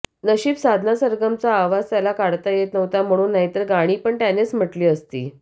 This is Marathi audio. नशीब साधना सरगमचा आवाज त्याला काढता येत नव्हता म्हणून नाहीतर गाणी पण त्यानंच म्हंटली असती